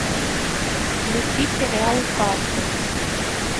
включи сериал касл